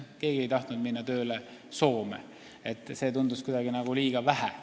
Keegi ei tahtnud Soome tööle minna, sellest oli kuidagi vähe.